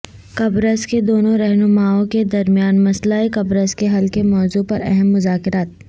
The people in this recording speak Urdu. قبرص کے دونوں رہنماوں کے درمیان مسئلہ قبرص کے حل کےموضوع پر اہم مذاکرات